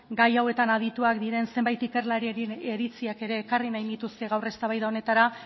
gai hauetan adituak diren zenbat ikerlariaren iritziak ere ekarri nahiko nituzke gaur eztabaida honetara